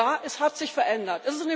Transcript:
Ja, es hat sich verändert.